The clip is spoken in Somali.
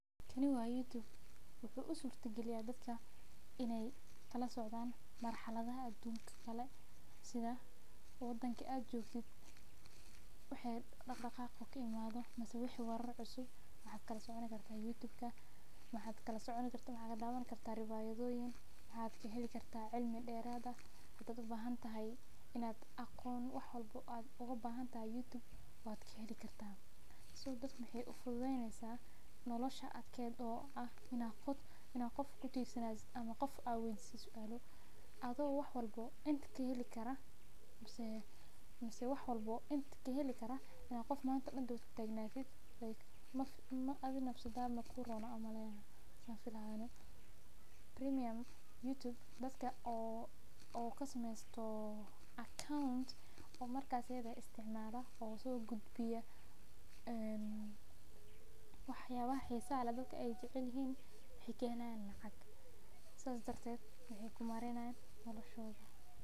Kani wa YouTube wuxuu usurta galiya dadka inaay kala socdan narxalada dalalaka kale waxaa ka heli kartaa cilmi iyo aqoon iyo war waxeey dadka ufududeyneysa inaad qof ubahati ama aad weydisid adhiga oo inta kaheli karo dadka isticmaalan wax yaabaha xiisa leh waxeey kahelayaan lacag.